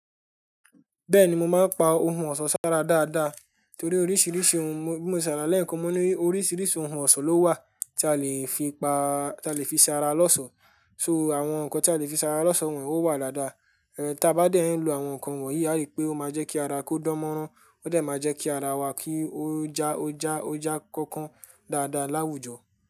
Bẹ́ẹ̀ni, mo máa ń pa ohun ọ̀ṣọ́ sára dáadáa torí oríṣìíríṣìí ohun, bí mo ṣe rà lẹ́ẹ̀kan, mo mọ̀ pé oríṣìíríṣìí ohun ọ̀ṣọ́ ló wà tí a lè fi pa, tí a lè fi ṣara lọ́sọ̀. So àwọn nǹkan tí a lè fi ṣara lọ́sọ òun ò wà dáadáa. Ẹ̀ tá bá dẹ́ ń lo àwọn nǹkan wọ̀nyí, a rí pé ó máa jẹ́ kí ara kó dánmọ́rán, ó dẹ̀ máa jẹ́ kí ara wa kí ó já, ó já, ó já kọ́kọ́ dáadáa láwùjọ.